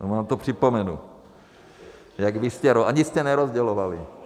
Nebo vám to připomenu, jak vy jste - ani jste nerozdělovali.